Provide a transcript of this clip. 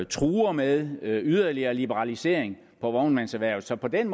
truer med yderligere liberalisering af vognmandserhvervet så på den